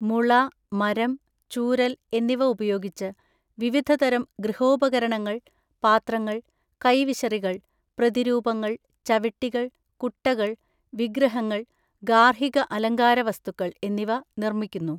മുള, മരം, ചൂരൽ എന്നിവ ഉപയോഗിച്ച് വിവിധതരം ഗൃഹോപകരണങ്ങള്‍, പാത്രങ്ങൾ, കൈവിശറികൾ, പ്രതിരൂപങ്ങൾ, ചവിട്ടികൾ, കുട്ടകൾ, വിഗ്രഹങ്ങൾ, ഗാർഹിക അലങ്കാരവസ്തുക്കൾ എന്നിവ നിർമ്മിക്കുന്നു.